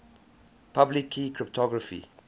public key cryptography